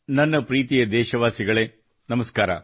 ನನ್ನ ಪ್ರೀತಿಯ ದೇಶಬಾಂಧವರೆ ನಮಸ್ಕಾರ